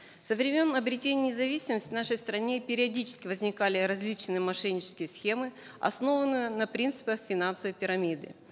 со времен обретения независимости в нашей стране периодически возникали различные мошеннические схемы основанные на принципах финансовой пирамиды